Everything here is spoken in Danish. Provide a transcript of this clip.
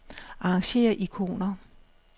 Arrangér ikoner.